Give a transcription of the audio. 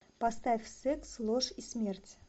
поставь секс ложь и смерть